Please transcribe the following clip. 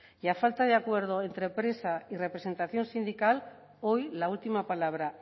y a falta de acuerdo entre empresa y representación sindical hoy la última palabra